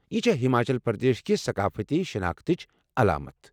یہِ چھےٚ ہماچل پردیش کہِ ثقافتی شناختٕچ علامتھ ۔